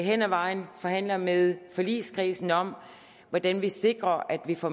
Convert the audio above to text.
hen ad vejen forhandler med forligskredsen om hvordan vi sikrer at vi får